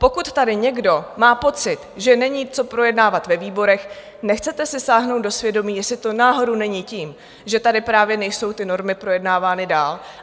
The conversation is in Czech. Pokud tady někdo má pocit, že není co projednávat ve výborech, nechcete si sáhnout do svědomí, jestli to náhodou není tím, že tady právě nejsou ty normy projednávány dál?